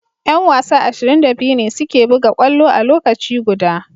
Yan wasa ashirin da biyu ne suke buga kwallo a lokaci guda.